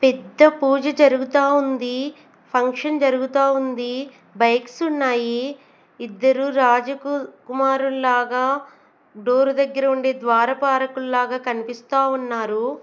పెద్ద పూజ జరుగుతా ఉంది ఫంక్షన్ జరుగుతా ఉంది బైక్స్ ఉన్నాయి ఇద్దరూ రాజు కు కుమారుల్లాగా డోర్ దగ్గర ఉండే ద్వారపాలకుల్ల లాగా కనిపిస్తా ఉన్నారు.